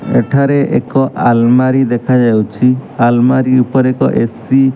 ଏଠାରେ ଏକ ଆଲମାରୀ ଦେଖାଯାଇଛି ଆଲମାରୀ ଉପରେ ଏକ ଏ_ସି ।